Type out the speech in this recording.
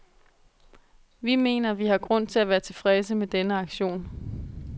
Vi mener, vi har grund til at være tilfredse med denne aktion.